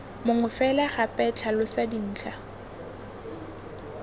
mongwe fela gape tlhalosa dintlha